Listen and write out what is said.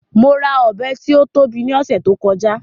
Mo ra Ọ̀bẹ tí ó tóbi ní ọ̀sẹ̀ tí ó kọjá